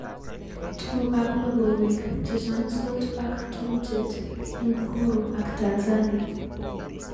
Tukukab logoiwek chechamsot ak tubjet eng Uhuru ak Tanzania